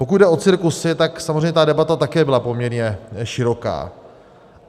Pokud jde o cirkusy, tak samozřejmě ta debata také byla poměrně široká.